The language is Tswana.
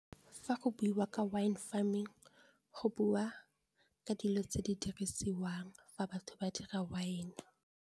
Fa go buiwa ka Wine farming go bua ka dilo tse di dirisiwang fa batho ba dira wine-e.